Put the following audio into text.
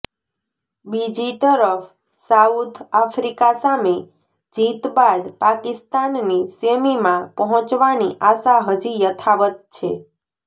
બીજી તરફ South Africa સામે જીત બાદ પાકિસ્તાનની સેમીમાં પહોંચવાની આશા હજી યથાવત છે